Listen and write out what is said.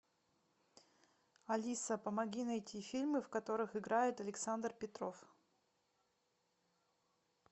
алиса помоги найти фильмы в которых играет александр петров